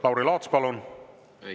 Lauri Laats, palun!